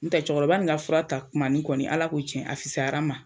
N tɛ cɛkɔrɔba in ka fura ta tuma nin kɔni, Ala ko cɛn na, a fisasayar'an ma.